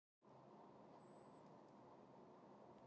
Alexía, hvenær kemur leið númer tvö?